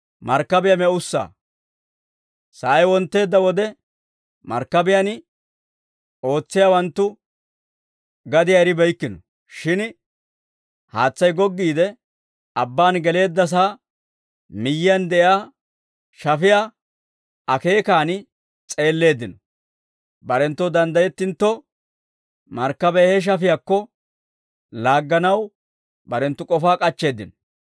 Sa'ay wontteedda wode, markkabiyaan ootsiyaawanttu gadiyaa eribeykkino; shin haatsay goggiide abbaan geleeddasaa miyyiyaan de'iyaa shafiyaa akeekaan s'eelleeddino. Barenttoo danddayettintto, markkabiyaa he shafiyaakko laagganaw barenttu k'ofaa k'achcheeddino.